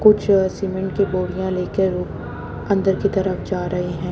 कुछ सीमेंट की बोरियां लेकर अंदर की तरफ जा रहे हैं।